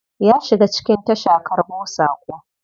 Ya shiga cikin tasha karbo sako.